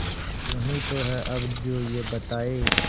तू ही तो है अब जो ये बताए